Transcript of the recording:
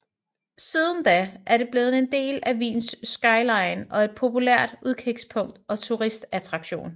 Siden da er det blevet en del af Wiens skyline og et populært udkigspunkt og turistattraktion